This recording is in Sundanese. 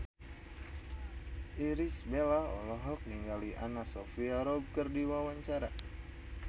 Irish Bella olohok ningali Anna Sophia Robb keur diwawancara